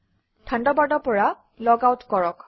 থাণ্ডাৰবাৰ্ডৰ পৰা লগআউট কৰক